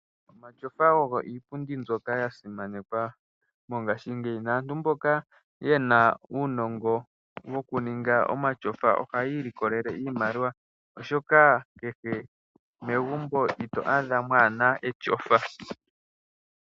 Omatyofa ogo iipundi mbyoka yasimanekwa mongashingeyi, naantu mboka ye na uunongo wokuninga omatyofa ohaya ilikolele iimaliwa, oshoka kehe megumbo ito adha mwaa na etyofa.